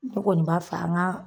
Ne kɔni b'a fɛ an ŋa